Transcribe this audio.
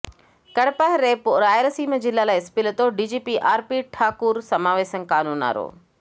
కడపః రేపు రాయలసీమ జిల్లాల ఎస్పీలతో డీజీపీ ఆర్పీ ఠాకూర్ సమావేశం కానున్నారు